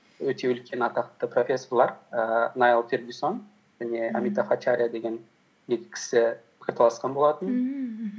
өте үлкен атақты профессорлар ііі найл фергисон және амита фачария деген екі кісі пікірталасқан болатын